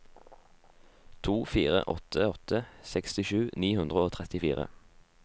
to fire åtte åtte sekstisju ni hundre og trettifire